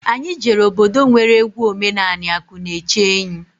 Anyị jere obodo nwere egwu omenani akụnaechenyi.